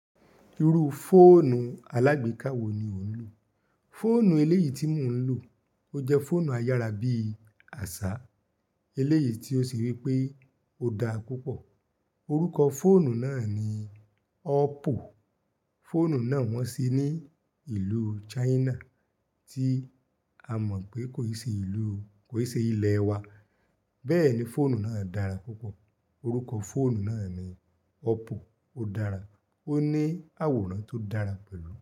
Irú fóònù alágbèéká wo ni o ń lò? Fóònù eléyìí tí mò ń lò, ó jẹ́ fóònù ayára bí àṣá, eléyìí tí ó ṣe wí pé ó dára púpọ̀. Orúkọ fóònù náà ni ọ́pò. Fóònù náà wọ́n se ní ìlú China tí a mọ̀ pé kò ì ṣe ìlú, kò ì ṣe ilẹ̀ wa. Bẹ́ẹ̀ ni fóònù náà dára púpọ̀. Orúkọ fóònù náà ni ọ́pò. Ó dára, ó ní àwòrán tó dára pẹ̀lú.